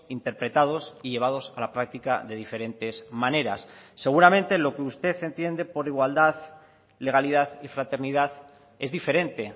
interpretados y llevados a la práctica de diferentes maneras seguramente lo que usted entiende por igualdad legalidad y fraternidad es diferente